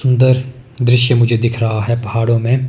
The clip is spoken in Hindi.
सुंदर दृश्य मुझे दिख रहा है पहाड़ों में।